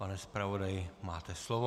Pane zpravodaji, máte slovo.